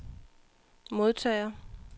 modtager